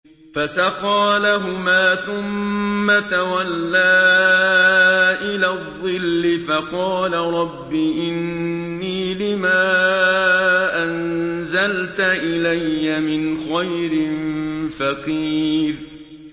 فَسَقَىٰ لَهُمَا ثُمَّ تَوَلَّىٰ إِلَى الظِّلِّ فَقَالَ رَبِّ إِنِّي لِمَا أَنزَلْتَ إِلَيَّ مِنْ خَيْرٍ فَقِيرٌ